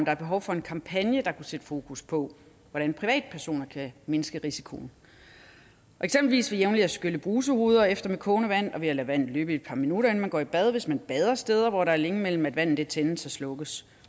er behov for en kampagne der kunne sætte fokus på hvordan privatpersoner kan mindske risikoen eksempelvis ved jævnligt at skylle brusehoveder efter med kogende vand og ved at lade vandet løbe et par minutter inden man går i bad hvis man bader steder hvor der er længe imellem at vandet tændes og slukkes